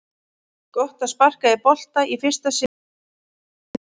Gott að sparka í bolta í fyrsta sinn síðan í Noregi!